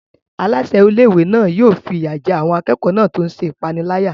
Aláṣẹ ilé-ìwé náà yóò fi ìyà jẹ àwọn akẹ́kọ̀ọ́ náà tó ń ṣe ìpániláyà.